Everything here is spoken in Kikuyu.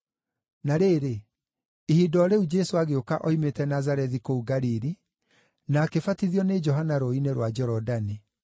Na rĩrĩ, ihinda o rĩu Jesũ agĩũka oimĩte Nazarethi kũu Galili, na akĩbatithio nĩ Johana rũũĩ-inĩ rwa Jorodani.